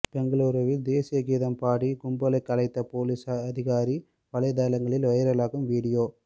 பெங்களூருவில் தேசிய கீதம் பாடி கும்பலை கலைத்த போலீஸ் அதிகாரி வலைதளங்களில் வைரலாகும் வீடியோ